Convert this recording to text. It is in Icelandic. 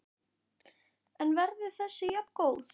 En verður þessi jafngóð?